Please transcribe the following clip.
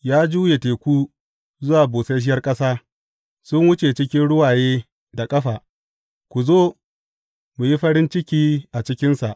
Ya juya teku zuwa busasshiyar ƙasa, sun wuce cikin ruwaye da ƙafa, ku zo, mu yi farin ciki a cikinsa.